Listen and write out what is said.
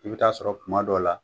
I bi taa sɔrɔ kuma dɔw la